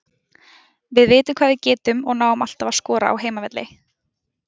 Við vitum hvað við getum og náum alltaf að skora á heimavelli.